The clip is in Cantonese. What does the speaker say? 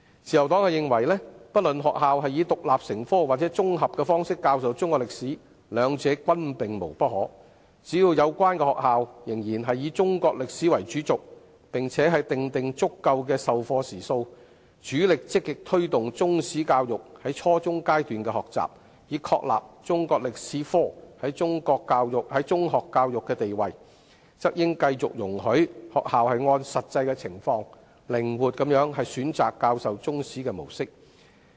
自由黨認為，不論學校以獨立科目或綜合的方式教授中史，兩者均可，只要有關的學校仍然以中史為主軸，並且訂定足夠的授課時數，積極推動中史教育在初中階段的學習，以確立中科在中學教育的地位，則當局應繼續容許學校按實際的情況，靈活地選擇教授中史的模式。